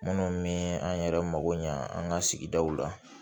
Minnu me an yɛrɛ mago ɲa an ka sigidaw la